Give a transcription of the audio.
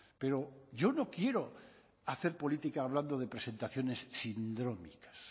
pero yo no quiero hacer política hablando de presentaciones sindrómicas